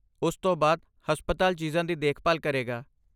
ਉਸ ਤੋਂ ਬਾਅਦ, ਹਸਪਤਾਲ ਚੀਜ਼ਾਂ ਦੀ ਦੇਖਭਾਲ ਕਰੇਗਾ।